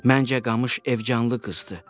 Məncə qamış evcanlı qızdır.